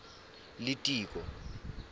litiko